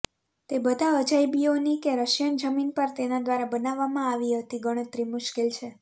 તે બધા અજાયબીઓની કે રશિયન જમીન પર તેના દ્વારા બનાવવામાં આવી હતી ગણતરી મુશ્કેલ છે